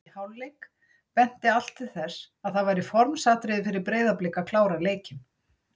Í hálfleik benti allt til þess að það væri formsatriði fyrir Breiðablik að klára leikinn.